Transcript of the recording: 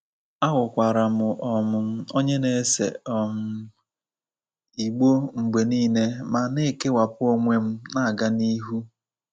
Aghọkwara m um onye na-ese um igbó mgbe nile ma na-ekewapụ onwe m na-aga n'ihu.